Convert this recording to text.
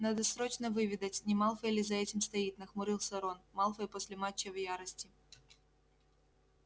надо срочно выведать не малфой ли за этим стоит нахмурился рон малфой после матча в ярости